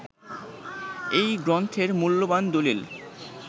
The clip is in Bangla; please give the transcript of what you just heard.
এই গ্রন্থের মূল্যবান দলিল